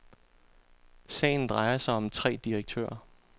Sagen drejer sig om tre direktører.